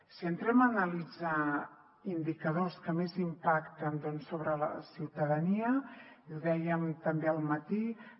si entrem a analitzar indicadors que més impacten sobre la ciutadania i ho dèiem també al matí